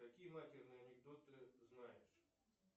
какие матерные анекдоты знаешь